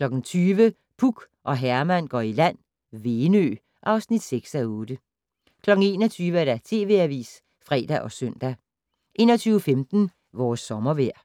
20:00: Puk og Herman går i land - Venø (6:8) 21:00: TV Avisen (fre og søn) 21:15: Vores sommervejr